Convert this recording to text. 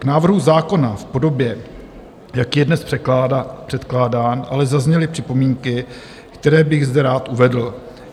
K návrhu zákona v podobě, jaký je dnes předkládán, ale zazněly připomínky, které bych zde rád uvedl.